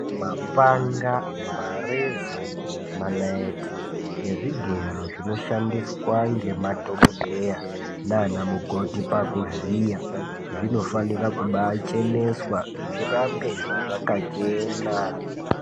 Mapanga mareza manaiti nezvigero zvinoshandiswa ngemadhokodheya nanamukoti pakuvhiya zvinofanira kubaacheneswa zvirambe zvakachena.